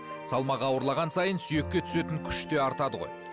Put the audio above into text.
салмағы ауырлаған сайын сүйекке түсетін күште артады ғой